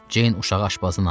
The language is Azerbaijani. Ceyn uşağı aşpazdan aldı.